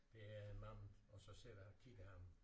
Det er en mand og sidder og kigger han